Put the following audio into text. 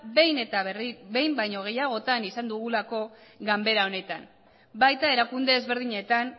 behin baino gehiagotan izan dugulako ganbara honetan baita erakunde ezberdinetan